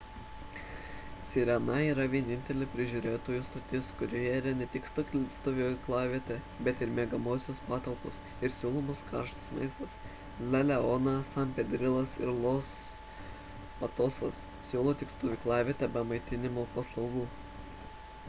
sirena yra vienintelė prižiūrėtojų stotis kurioje yra ne tik stovyklavietė bet ir miegamosios patalpos ir siūlomas karštas maistas la leona san pedrilas ir los patosas siūlo tik stovyklavietę be maitinimo paslaugų